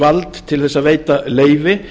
vald til þess að veita leyfi